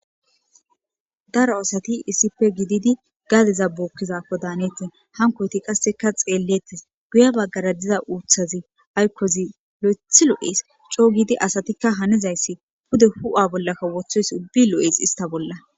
daro aasati iisipe gididi gadeza bookkizaako daanetti hankoyti qasseka xeellettes guya baggara diza uuthazi aykkozi lo7eth lo7es coo giidi asatikka hanizayssi bude hu7a bollakka wothoys ubbi lo7es ista bolla